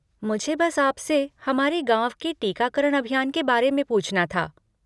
मुझे बस आपसे हमारे गाँव में टीकाकरण अभियान के बारे में पूछना था।